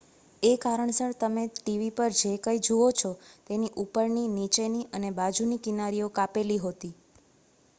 એ કારણસર તમે ટીવી પર જે કંઈ જુઓ છો તેની ઉપરની નીચેની અને બાજુની કિનારીઓ કાપેલી હોતી